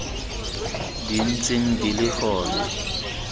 di ntseng di le gona